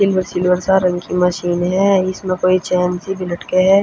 इनमह सिल्वर सा रंग की मशीन ह इसमें कोई चेन सी भी लटके ह।